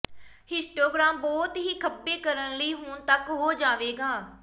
histogram ਬਹੁਤ ਹੀ ਖੱਬੇ ਕਰਨ ਲਈ ਹੁਣ ਤੱਕ ਹੋ ਜਾਵੇਗਾ